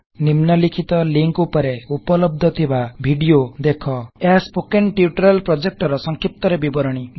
ନିମ୍ନଲିଖିତ ଲିକଂ ରେ ଉପଲବ୍ଧ ଥିବା ଭିଡିଓ ଦେଖ httpspoken tutorialorgWhat is a Spoken Tutorial ଏହା ସ୍ପୋକେନ୍ ଟ୍ୟୁଟୋରିଆଲ ପ୍ରୋଜେକ୍ଟ୍ ର ସଂକ୍ଷିପ୍ତରେ ବିବରଣୀ